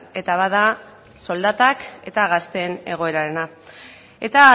eta bada soldatak eta gazteen egoerarena eta